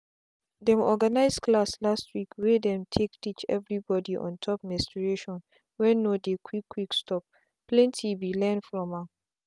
them organize class last week wey them take teach everybody on top menstruation wen no dey quick quick stopplenty be learn from am.